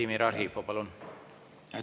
Vladimir Arhipov, palun!